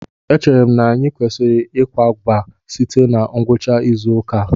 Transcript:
Echere m na anyị kwesịrị ịkwakọba site na ngwucha izu ụka a